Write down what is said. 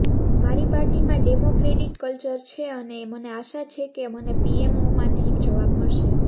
મારી પાર્ટીમાં democratic culture છે અને મને આશા છે કે મને પીએમઓમાંથી જબાવ મળશે